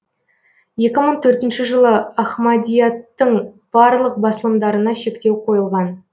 екі мың төртінші жылы ахмадияттың барлық басылымдарына шектеу қойылған